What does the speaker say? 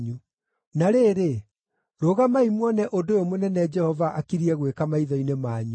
“Na rĩrĩ, rũgamai muone ũndũ ũyũ mũnene Jehova akiriĩ gwĩka maitho-inĩ manyu!